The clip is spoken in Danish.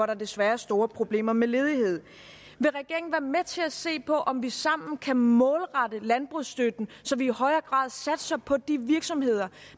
der desværre er store problemer med ledighed vil regeringen være med til at se på om vi sammen kan målrette landbrugsstøtten så vi i højere grad satser på de virksomheder